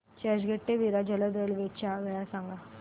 चर्चगेट ते विरार जलद रेल्वे च्या वेळा सांगा